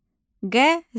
Qəzet.